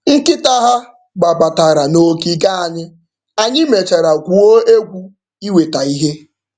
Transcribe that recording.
Nkịta ha gbabatara n'ogige anyị, anyị mechara gwuo egwu iweta ihe.